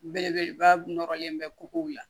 Belebeleba nɔrɔlen bɛ kogow la